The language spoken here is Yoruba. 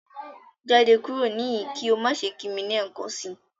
Jade kuro nihin ki o ma ṣe ki mi lẹẹkansi!